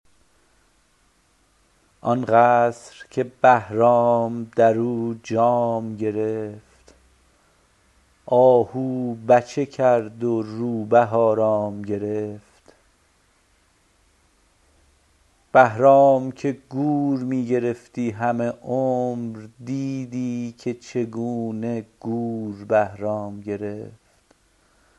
آن قصر که بهرام در او جام گرفت آهو بچه کرد و روبه آرام گرفت بهرام که گور می گرفتی همه عمر دیدی که چگونه گور بهرام گرفت